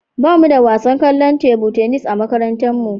Ba mu da wasan kwallon tebu tenis a makarantarmu.